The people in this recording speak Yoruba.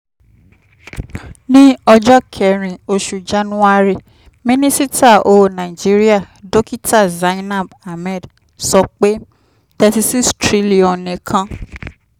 ní ọjọ́ kẹrin oṣù january minisita owó nàìjíríà dokita zainab ahmed sọ pé n three point three six trillion nìkan